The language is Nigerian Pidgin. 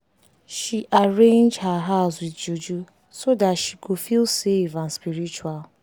she arrange her house with juju so that she go feel safe and spritual.